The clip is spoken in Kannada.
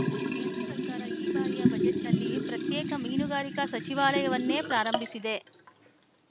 ಕೇಂದ್ರ ಸರ್ಕಾರ ಈ ಬಾರಿಯ ಬಜೆಟ್‌ನಲ್ಲಿ ಪ್ರತ್ಯೇಕ ಮೀನುಗಾರಿಕಾ ಸಚಿವಾಲಯವನ್ನೇ ಪ್ರಾರಂಭಿಸಿದೆ